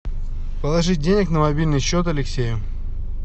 положить денег на мобильный счет алексею